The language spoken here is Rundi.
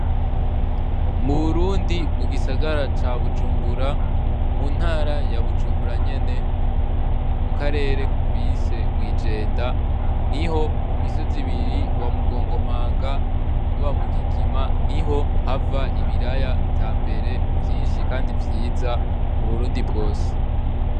Mu burundi mu gisagara ca bujumbura mu ntara ya bujumbura nyene mu karere bise mwijenda niho ku misozi ibiri uwamugongomanga n'uwamugigima niho hava ibiraya vyambere vyinshi kandi vyiza mu burundi bwose.